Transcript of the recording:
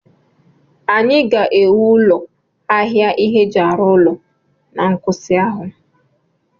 Anyị ga-ewu ụlọ ahịa ihe eji arụ ụlọ na nkwụsị ahụ